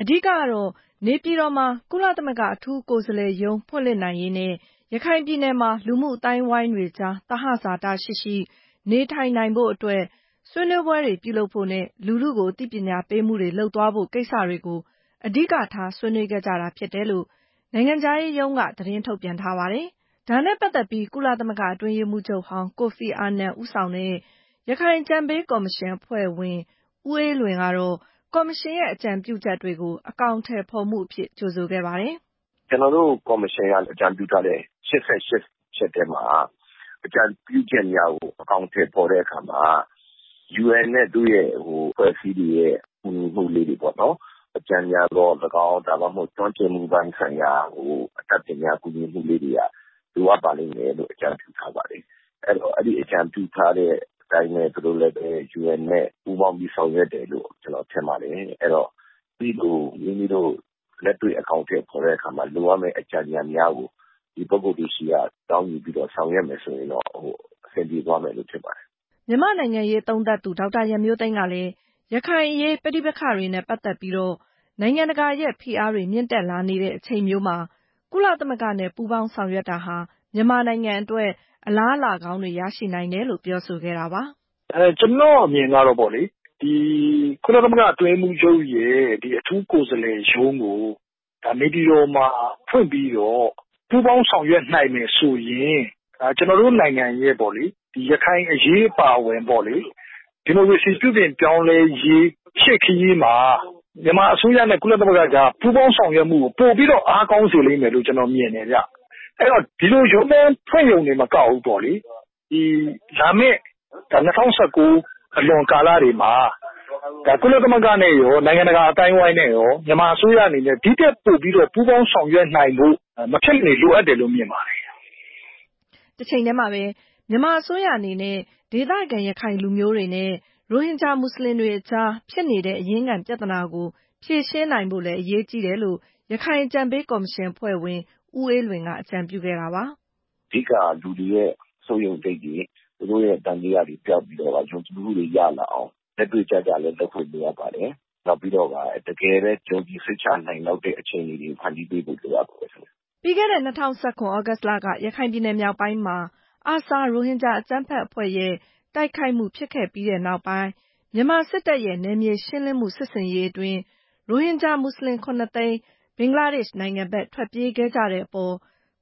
အဓိကကတော့ နေပြည်တော်မှာ ကုလသမဂ္ဂ အထူးကိုယ်စားလှယ်ရုံး ဖွင့်လှစ်နိုင်ရေးနဲ့ ရခိုင်ပြည်နယ်မှာ လူမှုအသိုင်းအဝိုင်းတွေအကြား သဟဇာတရှိရှိ နေထိုင်နိုင်ဖို့အတွက် ဆွေးနွေးပွဲတွေ ပြုလုပ်ဖို့ နဲ့ လူထုကို အသိပညာပေးမှုတွေ လုပ်သွားဖို့ ကိစ္စတွေကို အဓိကထား ဆွေးနွေးခဲ့ကြတာ ဖြစ်တယ်လို့ နိုင်ငံခြားရေးရုံးက သတင်းထုတ်ပြန်ထားပါတယ်။ ဒါနဲ့ပတ်သက်ပြီး - ကုလသမဂ္ဂ အတွင်းရေးမှူးချုပ်ဟောင်း ကိုဖီအာနန် ဦးဆောင်တဲ့ ရခိုင်အကြံပေးကော်မရှင်အဖွဲ့ဝင် ဦးအေးလွင် ကတော့ - ကော်မရှင်ရဲ့ အကြံပြုချက်တွေကို အထောင်အထည်ဖော်မှုအဖြစ် ကြိုဆိုခဲ့တာပါ။ “ကျနော်တို့ ကော်မရှင်ရဲ့ အကြံပြုချက် ၈၈ ချက်ထဲမှာ အကြံပြုချက်တွေကို အကောင်အထည်ဖော်တဲ့အခါမှာ UN နဲ့ သူ့အဖွဲ့အစည်းတွေရဲ့ ကူညီမှုလေးတွေပေါ့နော် အကြံဉာဏ်သော်လည်းကောင်း၊ ကျွမ်းကျင်မှုပိုင်းဆိုင်ရာ ကို အတတ်ပညာကူညီမှုလေးတွေက လိုအပ်ပါလိမ့်မယ်လို့ အကြံပြုထားပါတယ်။ အဲတော့ အဲ့လို အကြံပြုထား တဲ့အတိုင်းပဲ သူတို့လည်းပဲ UN နဲ့ ပူးပေါင်းပြီး ဆောင်ရွက်တယ်လို့ ကျနော်ထင်ပါတယ်။ အဲတော့ အဲ့ဒီလို မိမိတို့ လက်တွေ့ အကောင်အထည်ဖော်တဲ့အခါ လိုအပ်မယ့် အကြံဉာဏ်များကို ဒီပုဂ္ဂိုလ်တွေဆီက တောင်းယူပြီး ဆောင်ရွက်မယ်ဆိုရင်တော့ အဆင်ပြေသွားမယ်ထင်ပါတယ်။” မြန်မာ့နိုင်ငံရေးသုံးသပ်သူ ဒေါက်တာ ရန်မျိုးသိမ်းကလည်း - ရခိုင်အရေး ပဋိပက္ခတွေနဲ့ပတ်သက်ပြီး နိုင်ငံတကာရဲ့ ဖိအားတွေ မြင့်တက်လာနေတဲ့အချိန်မျိုးမှာ ကုလသမဂ္ဂနဲ့ ပူးပေါင်းဆောင်ရွက်တာဟာ မြန်မာနိုင်ငံအတွက် အလားအလာကောင်းတွေ ရရှိနိုင်တယ်လို့ ပြောဆိုခဲ့တာပါ။ “ကျနော့်အမြင်ကတော့ပေါ့လေ ကုလသမဂ္ဂ အတွင်းရေးမှူးချုပ်ရဲ့ အထူးကိုယ်စားလှယ်ရုံးကို နေပြည်တော်မှာ ဖွင့်ပြီး ပူးပေါင်းဆောင်ရွက်နိုင်မယ်ဆိုရင် ကျနော်တို့နိုင်ငံရဲ့ ရခိုင်အရေးအပါအဝင် ဒီမိုကရေစီပြုပြင်ပြောင်းလဲ ရေး ရှေ့ခရီးမှာ မြန်မာအစိုးရရဲ့ ကုလသမဂ္ဂကြား ပူးပေါင်းဆောင်ရွက်မှုကို ပိုပြီးတော့ ကောင်းစေလိမ့်မယ်လို့ ကျနော် မြင်ပါတယ်။ အဲတော့ ဒီလို ရုံးခန်းဖွင့်ရုံတင် မကဘူးပေါ့လေ။ လာမယ့် ၂၀၁၉ အလွန်ကာလတွေမှာ ကုလသမဂ္ဂနဲ့ရော နိုင်ငံတကာအသိုင်းအဝိုင်းနဲ့ရော ဒီထက်ပိုပြီးတော့ ပူးပေါင်းဆောင်ရွက်နိုင်ဖို့က မဖြစ်မနေ လိုအပ်တယ်လို့ မြင်ပါတယ်။” တချိန်တည်းမှာပဲ - မြန်မာအစိုးရအနေနဲ့ ဒေသခံရခိုင်လူမျိုးတွေနဲ့ ရိုဟင်ဂျာမွတ်စလင်တွေအကြား ဖြစ်နေတဲ့ အရင်းခံပြဿနာကို ဖြေရှင်းနိုင်ဖို့လည်း အရေးကြီးတယ်လို့ ရခိုင်အကြံပေးကော်မရှင်အဖွဲ့ဝင် ဦးအေးလွင် က အကြံပြုခဲ့တာပါ။ “အဓိက လူတွေရဲ့ စိုးရိမ်စိတ်တွေ၊ သူတို့ရဲ့ သံသယတွေ ပျောက်ပြီးတော့ကာ ယုံကြည်မှုတွေ ရလာအောင် လက်တွေ့ကျကျလည်း လုပ်ဆောင်ဖို့ လိုအပ်ပါတယ်။ နောက်ပြီးတော့ကာ တကယ်ပဲ ယုံကြည်စိတ်ချနိုင် လောက်တဲ့ အခြေအနေတွေကို ဖန်တီးပေးဖို့ လိုအပ်ပါတယ်။” ပြီးခဲ့တဲ့ ၂၀၁၇ သြဂုတ်လက ရခိုင်ပြည်နယ်မြောက်ပိုင်းမှာ ARSA ရိုဟင်ဂျာအကြမ်းဖက်အဖွဲ့ရဲ့ တိုက်ခိုက်မှု ဖြစ်ခဲ့ပြီးနောက်ပိုင်း မြန်မာစစ်တပ်ရဲ့ နယ်မြေရှင်းလင်းမှု စစ်ဆင်ရေးအတွင်း - ရိုဟင်ဂျာ မွတ်စလင် ၇ သိန်း ဘင်္ဂလားဒေ့ရှ်နိုင်ငံဘက် ထွက်ပြေးခဲ့ကြတဲ့အပေါ်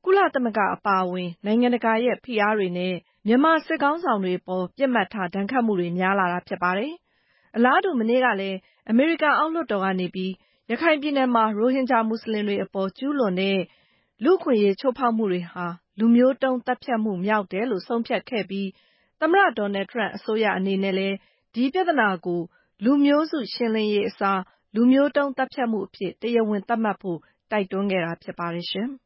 ကုလသမဂ္ဂ အပါအဝင် နိုင်ငံတကာရဲ့ ဖိအားတွေနဲ့ မြန်မာစစ်ခေါင်းဆောင်တွေအပေါ် ပစ်မှတ်ထား ဒဏ်ခတ်မှုတွေ များလာတာဖြစ်ပါတယ်။ အလားတူ မနေ့ကလည်း အမေရိကန် အောက်လွှတ်တော်ကနေပြီး - ရခိုင်ပြည်နယ်မှာ ရိုဟင်ဂျာမွတ်စလင်တွေ အပေါ် ကျူးလွန်တဲ့ လူ့အခွင့်အရေး ချိုးဖောက်မှုတွေဟာ လူမျိုးတုံးသတ်ဖြတ်မှု မြောက်တယ်လို့ ဆုံးဖြတ်ခဲ့ပြီး သမ္မတ Donald Trump အစိုးရအနေနဲ့လည်း ဒီပြဿနာကို လူမျိုးစုရှင်းလင်းရေးအစား - လူမျိုးတုံးသတ်ဖြတ်မှု အဖြစ် တရားဝင် သတ်မှတ်ဖို့ တိုက်တွန်းခဲ့တာ ဖြစ်ပါတယ်ရှင်။